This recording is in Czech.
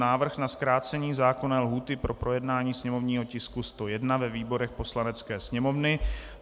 Návrh na zkrácení zákonné lhůty pro projednání sněmovního tisku 101 ve výborech Poslanecké sněmovny